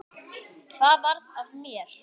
Hvað varð af mér?